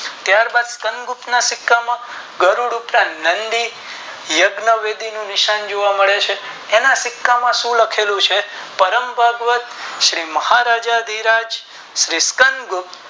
ત્યાં બાદ ચિકન ગુપ્ત ના સિક્કા માં નંદી યજ્ઞ વિધિ નું ચિન્હ જોવા મળે છે એના સિક્કા માં શું લખેલું છે પ્રેમભગત શ્રી મહારાજા ધધી રાજ ચિકન ગુપ્ત